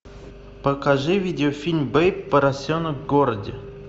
покажи видеофильм бэйб поросенок в городе